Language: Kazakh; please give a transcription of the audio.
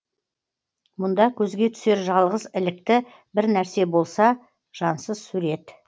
мұнда көзге түсер жалғыз ілікті бір нәрсе болса жансыз сурет